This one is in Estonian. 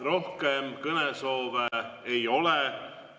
Rohkem kõnesoove ei ole.